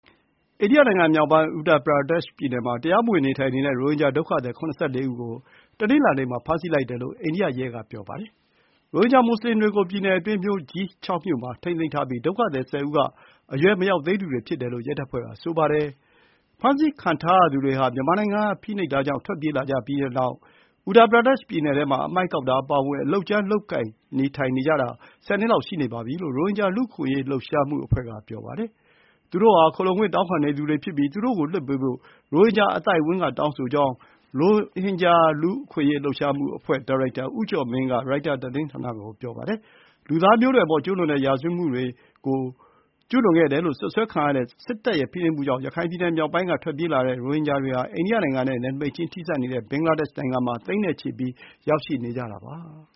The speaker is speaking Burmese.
အိန္ဒိယနိုင်ငံ မြောက်ပိုင်း Uttar Pradesh ပြည်နယ်မှာ တရားမ၀င်နေထိုင်တဲ့ ရိုဟင်ဂျာဒုက္ခသည် ၇၄ ဦးကို တနင်္လာနေ့မှာ ဖမ်းဆီးလိုက်တယ်လို့ အိန္ဒိယရဲတွေက ပြောပါတယ်။ ရိုဟင်ဂျာမွတ်ဆလင်တွေကို ပြည်နယ်အတွင်း မြို့ကြီး (၆) မြို့မှာ ထိန်းသိမ်းထားပြီး ဒုက္ခသည် ၁၀ ဦးမှာ အရွယ်မရောက်သေးသူတွေ ဖြစ်ကြောင်း ရဲတပ်ဖွဲ့က ပြောပါတယ်။ ဖမ်းဆီးခံထားရသူတွေဟာ မြန်မာနိုင်ငံကဖိနှိပ်မှုတွေကနေ ထွက်ပြေးလာပြီးတဲ့နောက် Uttar Pradesh ပြည်နည်ထဲမှာ အမှိုက်ကောက်တာအပါအဝင် အလုပ်ကြမ်းတွေလုပ်ကိုင်ပြီး နေထိုင်နေတာ ၁၀ နှစ် လောက်ရှိနေပြီ ဖြစ်တယ်လို့ ရိုဟင်ဂျာလူ့အခွင့်အရေး လှုပ်ရှားမှုအဖွဲ့က ပြောပါတယ်။ ရိုဟင်ဂျာတွေဟာ “ခိုလှုံခွင့်တောင်းခံနေသူဖြစ်ပြီး သူတို့ကိုလွှတ်ပေးဖို့ ရိုဟင်ဂျာအသိုင်းအဝန်းက တောင်းဆိုကြောင်း” ရိုဟင်ဂျာ လူ့အခွင့်အရေး လှုပ်ရှားမှု အဖွဲ့ (Rohingya Human Rights Initiative) ဒါရိုက်တာ ဦးကျော်မင်းကရိုက်တာ သတင်းဌာနကို ပြောပါတယ်။ လူသားမျိုးနွယ်အပေါ် ကျူးလွန်တဲ့ရာဇ၀တ်မှုတွေလို့ စွပ်စွဲခံရတဲ့စစ်တပ်ရဲ့ဖိနှိပ်မှုကြောင့် ရခိုင်ပြည်နယ် မြောက်ပိုင်းက ထွက်ပြေးလာတဲ့ ရိုဟင်ဂျာသိန်းနဲ့ချီဟာ အိန္ဒိယနိုင်ငံနဲ့နယ်နိမိတ်ချင်း ထိစပ်နေတဲ့ ဘင်္ဂလားဒေ့ရှ်နိုင်ငံမှာ ရောက်ရှိနေကြတာပါ